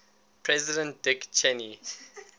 president dick cheney